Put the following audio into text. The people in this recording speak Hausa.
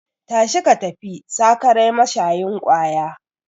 Tashi ka tafi sakarai mashayin kwaya!